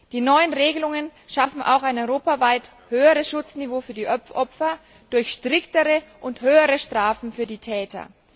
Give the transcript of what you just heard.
Die neuen Regelungen schaffen auch ein europaweit höheres Schutzniveau für die Opfer durch schärfere und höhere Strafen für die Täter.